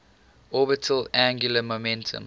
orbital angular momentum